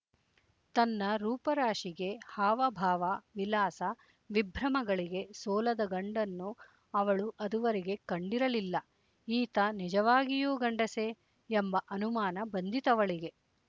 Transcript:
ತನ್ನ ರೂಪರಾಶಿಗೆ ಹಾವಭಾವ ವಿಲಾಸ ವಿಭ್ರಮಗಳಿಗೆ ಸೋಲದ ಗಂಡನ್ನು ಅವಳು ಅದುವರೆಗೆ ಕಂಡಿರಲಿಲ್ಲ ಈತ ನಿಜವಾಗಿಯೂ ಗಂಡಸೆ ಎಂಬ ಅನುಮಾನ ಬಂದಿತವಳಿಗೆ